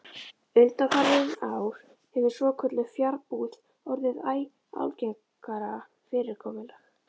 Undanfarin ár hefur svokölluð fjarbúð orðið æ algengara fyrirkomulag.